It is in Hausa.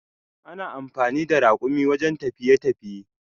Ana amfani da rakumi wajen tafiye tafiye.